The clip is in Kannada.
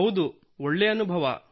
ಹೌದು ಒಳ್ಳೇ ಅನುಭವ